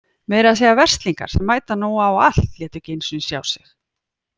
Meira að segja Verzlingar sem mæta nú á allt létu ekki einu sinni sjá sig.